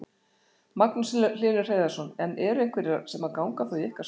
Magnús Hlynur Hreiðarsson: En eru einhverjir sem að ganga þá í ykkar störf eða?